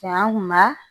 Cɛn maa